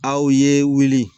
Aw ye wuli